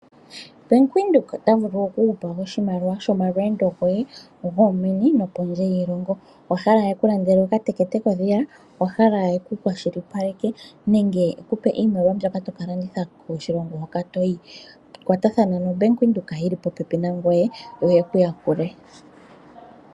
Bank Windhoek ota vulu oku kupa oshimaliwa shomalweendo goye, gomeni noshowo kondje yoshilongo, owahala eku landele okateke koye, owahala eku kwashilipaleke nenge ekupe iimaliwa yomoshilongo moka toyi. Kwatathana no Bank Windhoek yili popepi nangoye yo yekuyakule.